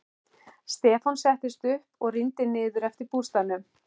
Stefán settist upp og rýndi niður eftir að bústaðnum.